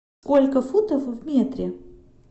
сколько футов в метре